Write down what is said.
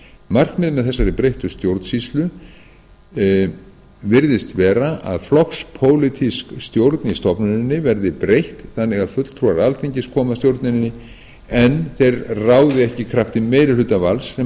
markmið með þessari breyttu stjórnsýslu virðist vera að flokkspólitískri stjórn í stofnuninni verði breytt þannig að fulltrúar alþingis komi að stjórnuninni en þeir ráði ekki í krafti meirihlutavalds sem